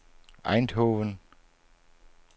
Eindhoven